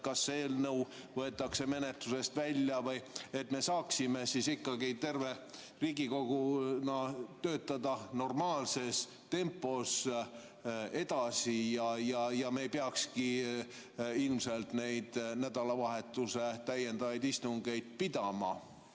Kas see eelnõu võetakse menetlusest välja või, et me saaksime ikkagi Riigikoguga töötada normaalses tempos edasi ega peakski ilmselt neid nädalavahetuse täiendavaid istungeid pidama?